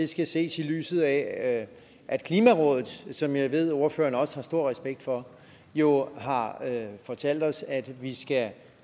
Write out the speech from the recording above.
skal ses i lyset af at klimarådet som jeg ved ordføreren også har stor respekt for jo har fortalt os at vi